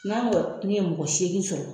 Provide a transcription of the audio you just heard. N'an kɔni ye mɔgɔ seegin sɔrɔ